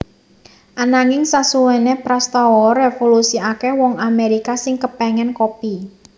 Ananging sasuwene prastawa revolusi akeh wong Amerika sing kepengen kopi